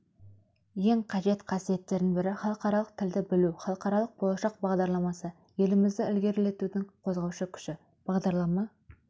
ең қажет қасиеттерінің бірі халықаралық тілді білу халықаралық болашақ бағдарламасы елімізді ілгерілетудің қозғаушы күші бағдарлама